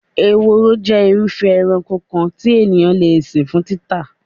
Ehoro jé̩ irúfé̩̣ eranko kan tí ènìyàn le sìn fún títà.